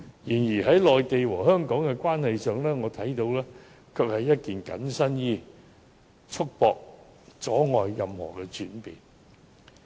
然而，就我所見，在內地和香港的關係上，《基本法》就如同緊身衣，束縛及阻礙任何轉變。